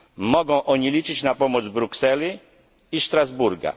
Mogą oni liczyć na pomoc Brukseli i Strasburga.